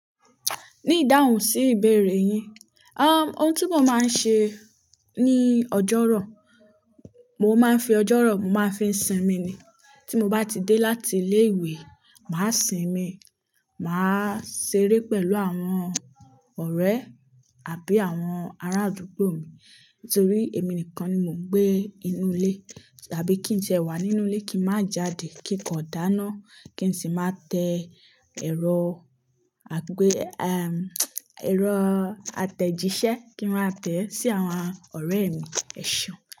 Ní ìdáhùn sí ìbéèrè yín, ohun tí mo máa ń ṣe ní ọjọ́rọ̀, mo máa ń fi ọjọ́rọ̀ mó máa fi sinmi ni. Tí mo bá ti dé láti ilé ìwé, màá sinmi, màá ṣeré pẹ̀lú àwọn ọ̀rẹ́ àbí àwọn arádúgbò mi. Nítorí èmi nìkan ni mò ń gbé inú ilé. Tàbí kí n tiẹ wà nínú ilé kí n má jáde, kí n kọ̀ dáná, kí n sì má tẹ́ ẹ̀rọ, àgbé, ẹ̀rọ atejise kí n má tẹ́ sí àwọn ọ̀rẹ́ mi. Ẹ̀ṣeun.